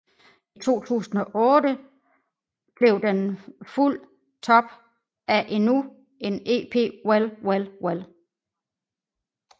I 2008 blev den fulg top af endnu en EP Well Well Well